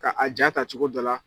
Ka a jaa ta cogo dɔ la.